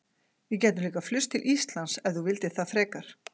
Við gætum líka flust til Íslands, ef þú vildir það frekar.